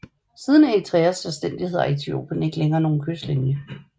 Siden Eritreas selvstændighed har Etiopien ikke længere nogen kystlinje